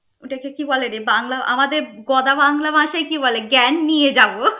ওটাকে কি বলেরে বাংলা আমদের গদা বাংলা ভাষায় কি বলে জ্ঞান নিয়ে যাব?